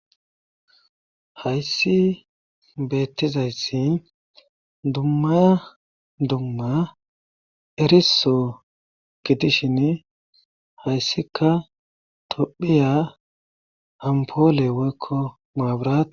Hayssi beettizayssi dummaya dumma eriso gidishin hayssika tophiya hampoole woykko muabirae.